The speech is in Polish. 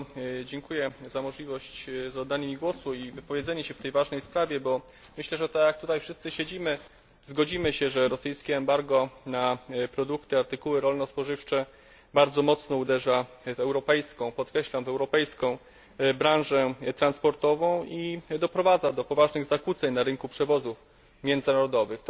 Bardzo dziękuję za możliwość zabrania głosu i wypowiedzenia się w tej ważnej sprawie, bo myślę, że tak jak tutaj wszyscy siedzimy, zgodzimy się, że rosyjskie embargo na produkty, artykuły rolno spożywcze bardzo mocno uderza w europejską, podkreślam w europejską, branżę transportową i doprowadza do poważnych zakłóceń na rynku przewozów międzynarodowych.